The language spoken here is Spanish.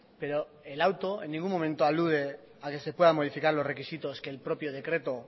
pero el auto en ningún momento alude a que se puedan modificar los requisitos que el propio decreto